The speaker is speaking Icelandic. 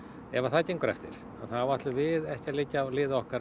ef það gengur eftir þá ætlum við ekki að liggja á liði okkar